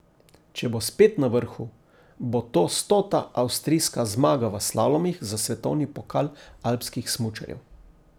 Če bo spet na vrhu, bo to stota avstrijska zmaga v slalomih za svetovni pokal alpskih smučarjev.